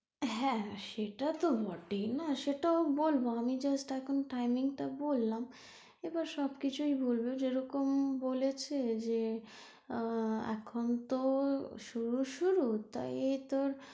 হ্যাঁ সেটা তো বটেই না সেটা তো বলবো আমি just এখন timing টা বললাম, এবার সবকিছুই বলবো যেরকম বলেছে যে আহ এখন তো শুরু শুরু তাই ওই তোর,